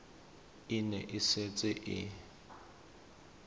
e ne e setse e